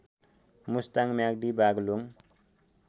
Mustang Myagdi Baglung